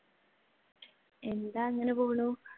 എന്താ അങ്ങനെ പോണു.